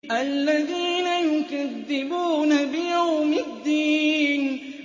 الَّذِينَ يُكَذِّبُونَ بِيَوْمِ الدِّينِ